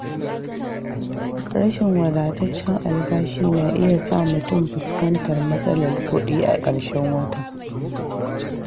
Rashin wadataccen albashi na iya sa mutum fuskantar matsalar kuɗi a ƙarshen wata.